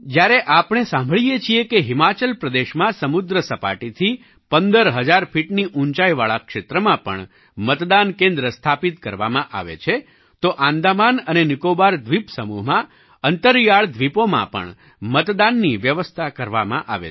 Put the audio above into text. જ્યારે આપણે સાંભળીએ છીએ કે હિમાચલ પ્રદેશમાં સમુદ્ર સપાટીથી 15 હજાર ફીટની ઊંચાઈવાળા ક્ષેત્રમાં પણ મતદાન કેન્દ્ર સ્થાપિત કરવામાં આવે છે તો આંદામાન અને નિકોબાર દ્વીપ સમૂહમાં અંતરિયાળ દ્વીપોમાં પણ મતદાનની વ્યવસ્થા કરવામાં આવે છે